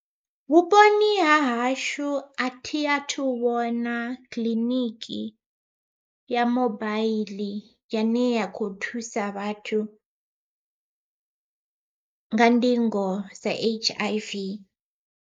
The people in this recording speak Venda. Vhuponi ha hashu a thi a thu vhona kiḽiniki ya mobaiḽi yane ya kho thusa vhathu nga ndingo dza H_I_V.